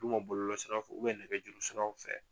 bɔlɔlɔ siraw fɛ nɛgɛ juru siraw fɛ.